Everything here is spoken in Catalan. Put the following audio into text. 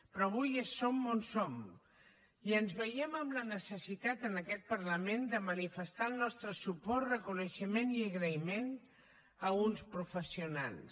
però avui som on som i ens veiem amb la necessitat en aquest parlament de manifestar el nostre suport reconeixement i agraïment a uns professionals